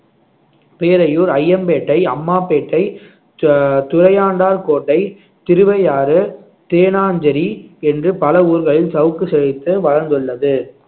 பேரையூர் அய்யம்பேட்டை அம்மாபேட்டை து~ துறையாண்டார் கோட்டை திருவையாறு தேனாஞ்சேரி என்று பல ஊர்களில் சவுக்கு செழித்து வளர்ந்துள்ளது